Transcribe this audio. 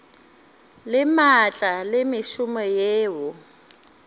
le maatla le mešomo yeo